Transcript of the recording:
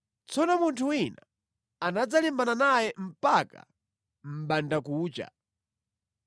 Tsono Yakobo anatsala yekha. Tsono munthu wina anadzalimbana naye mpaka mʼmbandakucha.